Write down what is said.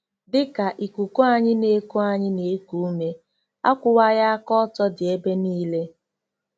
DỊ KA ikuku anyị na-eku anyị na-eku ume, akwụwaghị aka ọtọ dị ebe niile.